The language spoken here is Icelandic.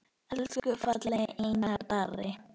Elsku fallegi Einar Darri.